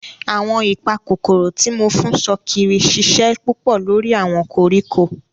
Awọn ipakokoro ti mo fun sokiri ṣiṣẹ pupọ lori awọn koriko.